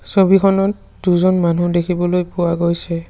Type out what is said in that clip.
ছবিখনত দুজন মানুহ দেখিবলৈ পোৱা গৈছে।